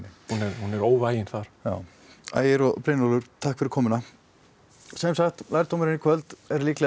hún er óvægin þar ægir og Brynjólfur takk fyrir komuna sem sagt lærdómurinn í kvöld er